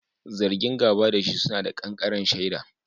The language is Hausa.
Zargin gaba da shi suna da ƙanƙaren shaida.